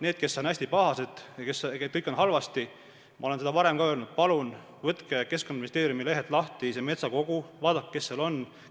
Neile, kes on hästi pahased ja leiavad, et kõik on halvasti, ütlen seda, mida ma olen ka varem öelnud: palun võtke Keskkonnaministeeriumi lehelt lahti see metsakogu ja vaadake, kes seal on.